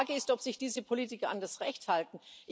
Die Frage ist, ob sich diese Politiker an das Recht halten.